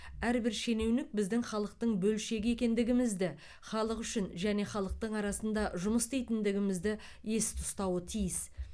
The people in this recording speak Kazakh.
әрбір шенеунік біздің халықтың бөлшегі екендігімізді халық үшін және халықтың арасында жұмыс істейтіндігімізді есте ұстауы тиіс